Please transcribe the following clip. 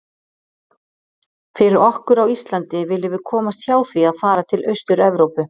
Fyrir okkur á Íslandi viljum við komast hjá því að fara til Austur-Evrópu.